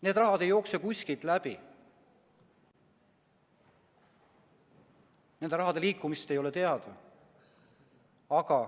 Need rahad ei jookse kuskilt läbi, nende rahade liikumist ei ole teada.